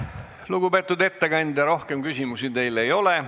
Lugupeetud ettekandja, rohkem küsimusi teile ei ole.